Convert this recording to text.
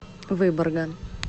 выборга